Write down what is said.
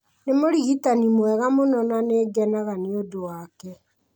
Nĩ mũrigitani mwega mũno na nĩ ngenaga nĩ ũndũ wake.